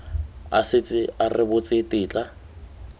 a setse a rebotse tetla